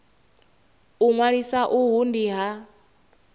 u ṅwalisa uhu ndi ha